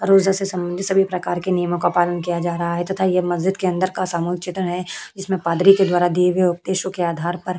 रोजे से सम्बंधित सभी प्रकार के नियमो का पालन किया जा रहा है तथा यह मस्जिद के अंदर का सामूहिक चित्र है। जिसमे पादरी के द्वारा दिए गए उपदेशो के आधार पर --